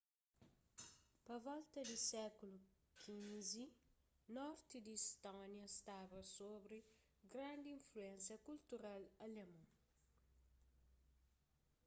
pa volta di sékulu xv norti di istónia staba sobri grandi influénsia kultural alemon